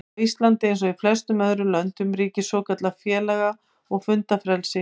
Á Íslandi, eins og í flestum öðrum löndum, ríkir svokallað félaga- og fundafrelsi.